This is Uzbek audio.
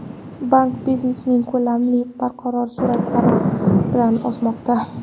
Bank biznesining ko‘lamlari barqaror sur’atlar bilan o‘smoqda.